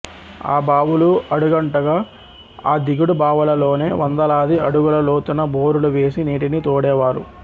ఆ బావులు అడుగంటగ ఆ దిగుడు బావులలోనే వందలాది అడుగుల లోతున బోరులు వేసి నీటిని తోడే వారు